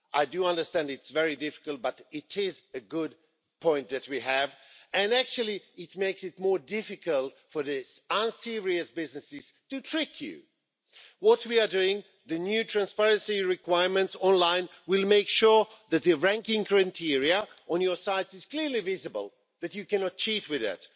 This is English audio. I do understand it's very difficult, but it is a good point that we have, and it makes it more difficult for the unserious businesses to trick you. What we are doing, the new transparency requirements online, will make sure that the ranking criteria on your site is clearly visible. That you cannot cheat with that.